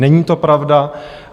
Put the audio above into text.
Není to pravda.